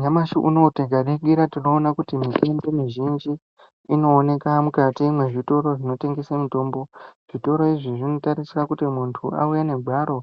Nyamashi unowu tikaningira tinoona kuti mitombo mizhinji inoonekwa mukati mezvitoro zvinotengeswa mitombo zvitoro izvi zvinotarisa kuti muntu auya negwaro